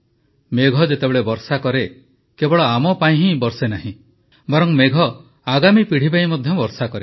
ମେଘ ଯେତେବେଳେ ବର୍ଷା କରେ କେବଳ ଆମ ପାଇଁ ହିଁ ବର୍ଷେ ନାହିଁ ବରଂ ମେଘ ଆଗାମୀ ପିଢ଼ି ପାଇଁ ମଧ୍ୟ ବର୍ଷା କରେ